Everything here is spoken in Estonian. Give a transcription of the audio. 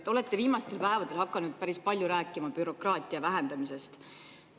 Te olete viimastel päevadel hakanud päris palju rääkima bürokraatia vähendamisest.